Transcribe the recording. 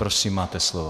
Prosím, máte slovo.